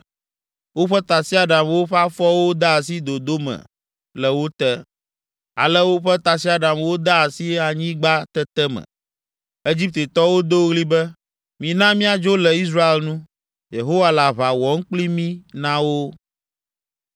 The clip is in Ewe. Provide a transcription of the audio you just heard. Woƒe tasiaɖamwo ƒe afɔwo de asi dodo me le wo te. Ale woƒe tasiaɖamwo de asi anyigbatete me. Egiptetɔwo do ɣli be, “Mina míadzo le Israel nu. Yehowa le aʋa wɔm kpli mí na wo!”